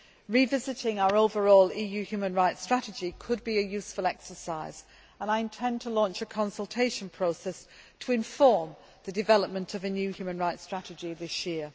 fora. Revisiting our overall EU human rights strategy could be a useful exercise, and I intend to launch a consultation process to inform the development of a new human rights strategy this